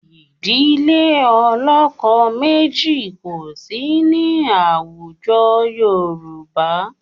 Ìdílé ọlọ́kọ méjì kò sí ní àwùjọ Yorùbá